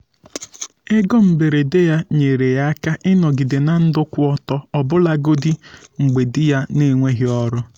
ego mberede ya nyere ya aka ịnọgide na ndụ kwụ ọtọ ọbụlagodi mgbe di ya n'enweghị ọrụ.